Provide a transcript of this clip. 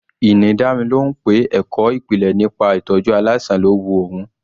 Ini dá mi lóhùn pé ẹ̀kọ́ ìpìlẹ̀ nípa ìtọ́jú aláìsàn lọ́ wu òun.